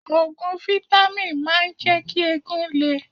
Òògùn fítámìn máa ń jẹ́ kí eegun le.